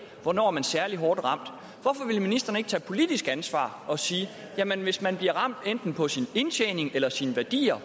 hvornår man er særlig hårdt ramt hvorfor vil ministeren ikke tage politisk ansvar og sige hvis man bliver ramt enten på sin indtjening eller sine værdier